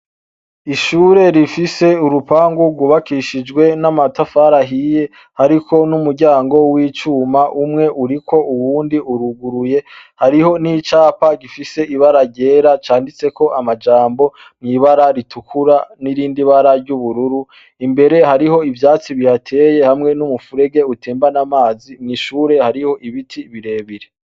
Ishure rifise urupangu rwubakishijwe n'amatafari ahiye hariko n'umuryango wi cuma umwe uriko uwundi uruguruye hariho nicapa gifise ibara ryera Canditseko amajambo ,ibara ritukura nirindi bara ry'ubururu imbere hariho ivyatsi bihateye hamwe numufurege utembana amazi mw'ishure hariho ibiti birebire.